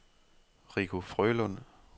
Rico Frølund